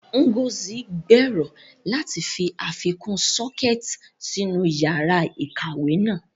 Ngozi gbèrò láti fi àfikún sockets sínú yàrá ìkàwé náà.